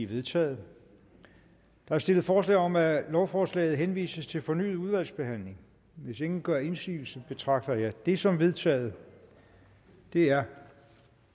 vedtaget der er stillet forslag om at lovforslaget henvises til fornyet udvalgsbehandling hvis ingen gør indsigelse betragter jeg det som vedtaget det er